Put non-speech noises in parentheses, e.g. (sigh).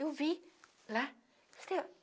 Eu vi lá. (unintelligible)